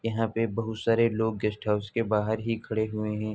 यहाँ पे बहौत सारे लोग गेस्ट हाउस के बाहर ही खड़े हुए हैं।